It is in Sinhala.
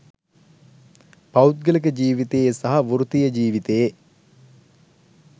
පෞද්ගලික ජීවිතයේ සහ වෘත්තීය ජීවිතයේ